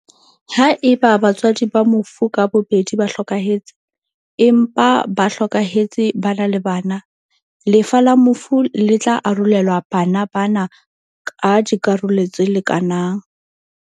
Haeba batswadi ba mofu ka bobedi ba hlokahetse, empa ba hlokahetse ba na le bana, lefa la mofu le tla arolelwa bana ba na ka dikarolo tse lekanang.